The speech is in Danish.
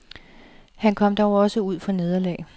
Han kom dog også ud for nederlag.